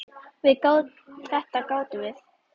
Það gátum við.